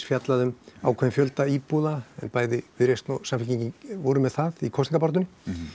fjallað um ákveðinn fjölda íbúða bæði Viðreisn og Samfylkingin voru með það í kosningabaráttunni